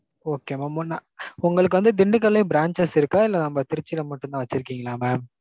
Okay mam ஒண்ணா. உங்களுக்கு வந்து திண்டுக்கல்லேயும் branches இருக்கா, இல்ல நம்ம திருச்சில மட்டும் தான் வச்சுருக்கீங்களா mam?